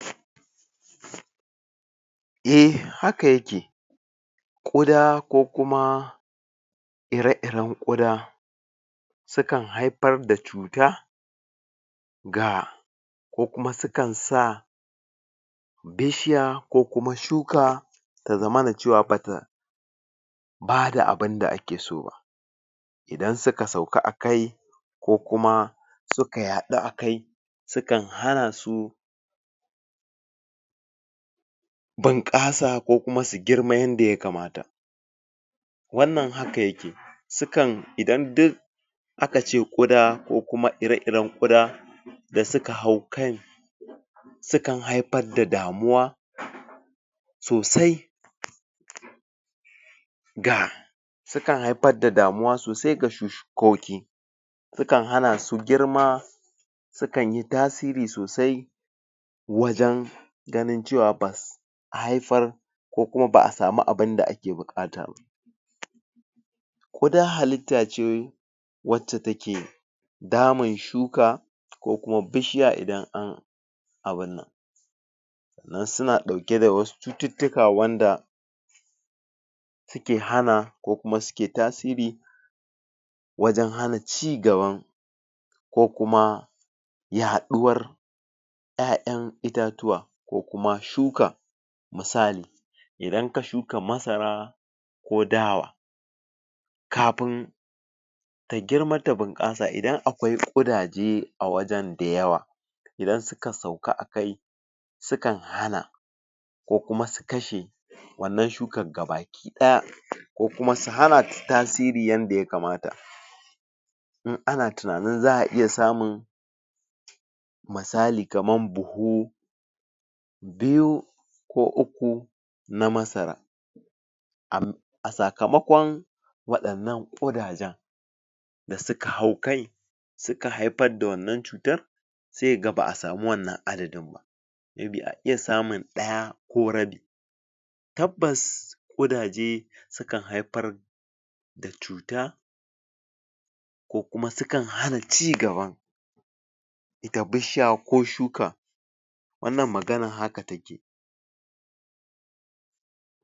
?? E haka yake Ƙuda ko kuma ire-iren Ƙuda sukan haifar da cuta ga ko kuma sukan sa bishiya ko kuma shuka ta zama cewa bata bata abinda ake so ba idan suka sauka akai ko kuma suka yaɗu akai sukan hana su binƙasa ko kuma su girma yanda ya kamata wannan haka yake sukan idan dai aka ce Ƙuda ko kuma ire-iren Ƙuda da suka hau kai sukan haifar da damuwa sosai ga sukan haifar da damuwa sosai ga shukoki sukan hana su girma sukan yi tasiri sosai wajen ganin cewa bas haifar da ko kuma ba a samu abinda ake buƙata ba Ƙuda halitta ce wacca take damun shuka ko kuma bishiya idan an abin nan sannan suna ɗauke da wasu cututtuka wanda suke hana ko kuma suke tasiri wajen hana ci gaban ko kuma yaɗuwar 'ya'yan itatuwa ko kuma shuka misali idan ka shuka masara ko Dawa kafin ta girma ta bunƙasa idan kwai ƙudaje a wajen da yawa idan suka sauka akai sukan hana ko kuma su kashe wannan shukar gabaki ɗaya ko kuma su hanata tasiri yadda ya kamata in ana tunanin za a iya samun misali kamar buhu biyu ko uku na masara? a sakamakon waɗannan ƙudajen da suka hau kai suka haifar da wannan cutar sai ka ga ba a samu wannan adadin ba me bi a iya samun ɗaya ko rabi tabbas Ƙudaje sukan haifar da cuta ko kuma sukan hana ci gaban ita bishiya ko shuka wannan maganar haka take